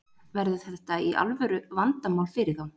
Verður þetta alvöru vandamál fyrir þá?